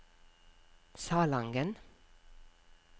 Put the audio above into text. Salangen